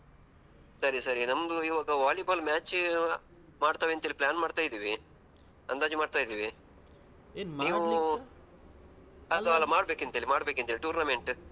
ಸರಿ ಸರಿ ನಮ್ದು ಇವಾಗ ವಾಲಿಬಾಲ್ match ಮಾಡ್ತೇವೆ ಅಂತ ಹೇಳಿ plan ಮಾಡ್ತಾಯಿದ್ವಿ ಅಂದಾಜ್ ಮಾಡ್ತಾಯಿದ್ವಿ ನೀವು ಮಾಡ್ಬೇಕೆಂತೇಳಿ ಮಾಡ್ಬೇಕೆಂತೇಳಿ tournament.